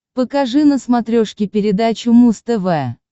покажи на смотрешке передачу муз тв